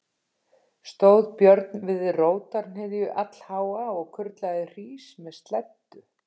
Stóð Björn við rótarhnyðju allháa og kurlaði hrís með sleddu.